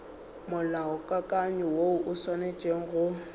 molaokakanywa woo o swanetše go